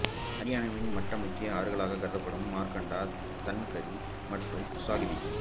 அரியானாவின் மற்ற முக்கிய ஆறுகளாக கருதப்படுபவன மார்கண்டா தன்கரி மற்றும் ஸாகிபி